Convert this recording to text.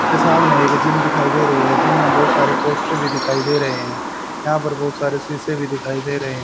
के सामने एक जिम दिखाई दे रही है जिम में बहुत सारे पोस्टर भी दिखाई दे रहे हैं यहां पर बहुत सारे शीशे भी दिखाई दे रहे हैं।